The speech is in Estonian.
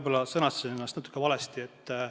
Jah, ma võib-olla sõnastasin natuke valesti.